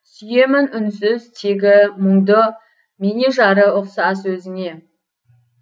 сүйемін үнсіз тегі мұңды менежары ұқсас өзіңе